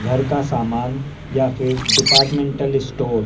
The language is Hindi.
घर का सामान या फिर डिपार्टमेंटल स्टोअर --